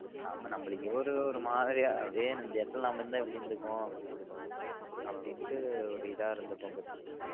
ஆமா நமக்கு இவரு ஒரு மாறி அப்டியே அந்த இடத்துல்ல நம்ம இருந்தா எப்டி இருந்திருக்கும் அப்டின்ட்டு ஒரு இதா இருந்திருக்கும்